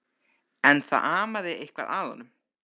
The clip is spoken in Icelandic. En það amaði eitthvað að honum.